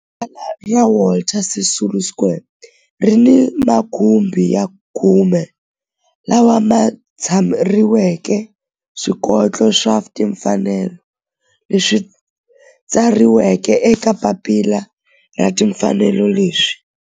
Rivala ra Walter Sisulu Square ri ni makhumbi ya khume lawa ma tsariweke swikoxo swa timfanelo leswi tsariweke eka papila ra timfanelo leswi